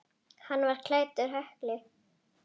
Hann var klæddur hökli.